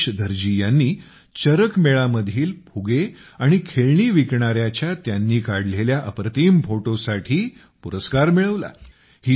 राजेश धरजी यांनी चरक मेळा मधील फुगे आणि खेळणी विकणाऱ्याच्या त्यांनी काढलेल्या अप्रतिम फोटोसाठी पुरस्कार मिळवला